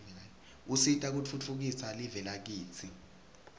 usita kutfutfukisa live lakitsi